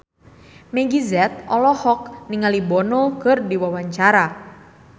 Meggie Z olohok ningali Bono keur diwawancara